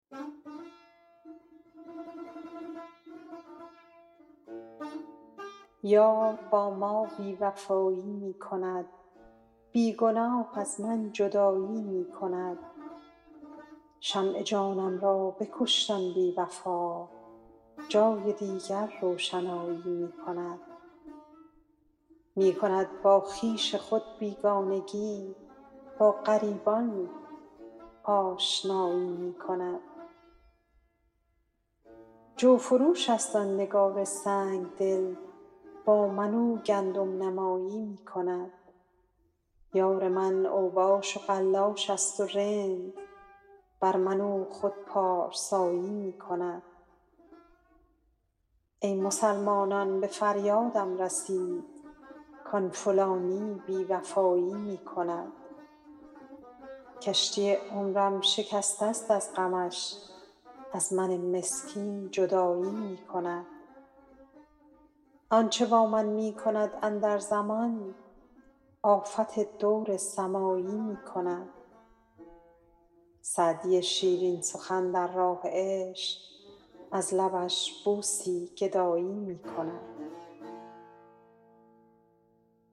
یار با ما بی وفایی می کند بی گناه از من جدایی می کند شمع جانم را بکشت آن بی وفا جای دیگر روشنایی می کند می کند با خویش خود بیگانگی با غریبان آشنایی می کند جوفروش است آن نگار سنگ دل با من او گندم نمایی می کند یار من اوباش و قلاش است و رند بر من او خود پارسایی می کند ای مسلمانان به فریادم رسید کآن فلانی بی وفایی می کند کشتی عمرم شکسته است از غمش از من مسکین جدایی می کند آن چه با من می کند اندر زمان آفت دور سمایی می کند سعدی شیرین سخن در راه عشق از لبش بوسی گدایی می کند